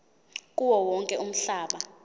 kuwo wonke umhlaba